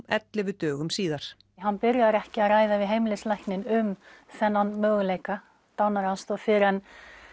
ellefu dögum síðar hann byrjar ekki að ræða við heimilislækninn um þennan möguleika dánaraðstoð fyrr en